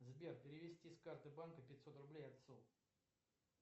сбер перевести с карты банка пятьсот рублей отцу